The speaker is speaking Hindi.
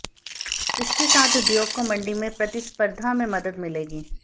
इसके साथ उद्योग को मंडी में प्रतिस्पर्धा में मदद मिलेगी